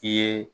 I ye